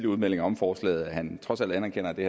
udmeldinger om forslaget at han trods alt anerkender at det